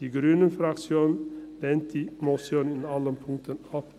Die grüne Fraktion lehnt die Motion in allen Punkten ab.